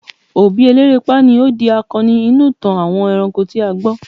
obi elerepa ni o di akanni inú itan àwọn eranko ti a gbo